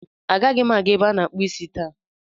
Agaghị m aga ebe a na-akpụ isi taa.